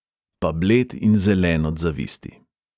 Pa bled in zelen od zavisti.